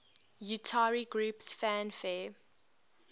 utari groups fanfare